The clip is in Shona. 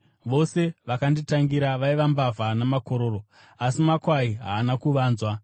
Vose vakanditangira vaiva mbavha namakororo, asi makwai haana kuvanzwa.